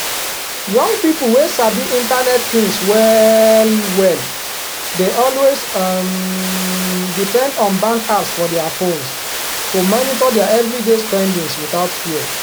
young people wey sabi internet things well well dey always um depend on bank apps for dia phones to monitor dia everyday spendings without fear